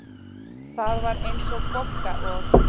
Það var eins og Bogga og